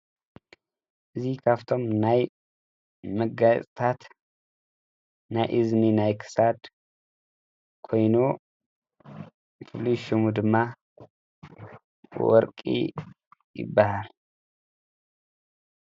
እዙ ኻብቶም ናይ መገታት ናይ እዝኒ ናይ ክሳድ ኮይኑ ፍሉይ ሹሙ ድማ ወርቂ ይበሃል።